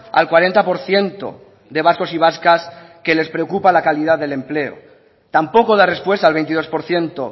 al cuarenta por ciento de vascos y vascas que les preocupa la calidad del empleo tampoco da respuesta al veintidós por ciento